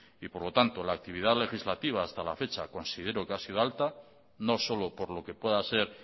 y por lo tanto la actividad legislativa hasta la fecha considero que ha sido alta no solo por lo que pueda ser